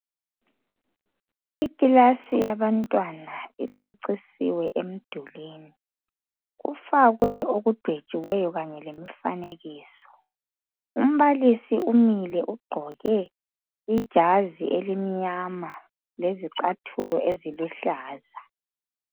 Ikilasi yabantwana icecisiwe emdulini kufakwe okudwetshiweyo kanye lemfanekiso, umbalisi umile ugqoke ijazi elimnyama lezicathulo eziluhlaza.